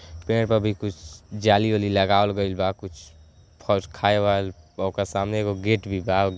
पेंड प अभी कुछ जाली-ओली लगावल गइल बा कुछ फौज खाए वाल ओक सामने एगो गेट भी बा --